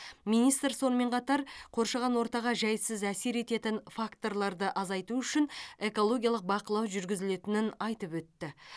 министр сонымен қатар қоршаған ортаға жайсыз әсер ететін факторларды азайту үшін экологиялық бақылау жүргізілетінін айтып өтті